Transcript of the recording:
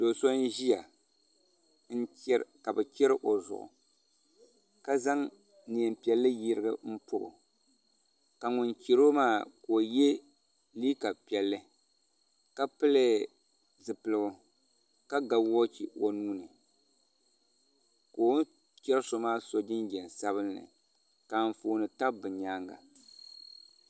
Do so n ʒiya ka bi chɛri o zuɣu ka zaŋ neen piɛlli yirigi pobo ka ŋun chɛro maa ka o yɛ liiga piɛlli ka pili zipiligu ka ga woochi o nuuni ka o ni chɛri so maa so jinjɛm sabinli ka anfooni tabi bi nyaanga